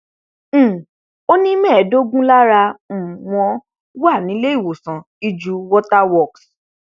um ó ní mẹ́ẹ̀ẹ́dógún lára um wọn wà níléewọsán iju water works